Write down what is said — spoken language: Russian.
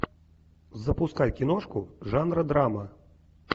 запускай киношку жанра драма